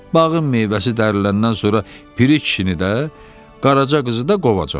Bağın meyvəsi dəriləndən sonra Piri kişini də, qaraca qızı da qovacam.